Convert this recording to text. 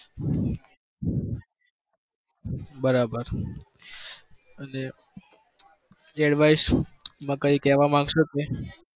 બરાબર અને advise માં કઈ કેવા માંગશો તમે?